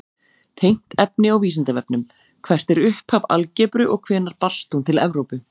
Tengt efni á Vísindavefnum: Hvert er upphaf algebru og hvenær barst hún til Evrópu?